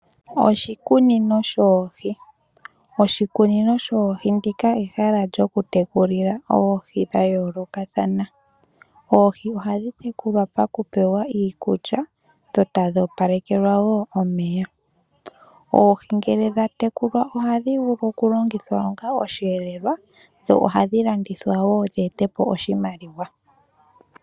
Oshikunino sho oohi ,oshikunino sho oohi ndika ehala lyo ku tekulila oohi dhayolokathana ,oohi ohadhi tekulwa paku pewa iikulya dho tadhi opalekelwa wo omeya .Oohi ngele dha tekulwa ohadhi vulu okulongithwa onga oshiyelelwa dho ohadhi dhilandithwa wo dhi ete po oshimaliwa.